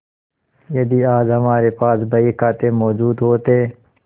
यदि आज हमारे पास बहीखाते मौजूद होते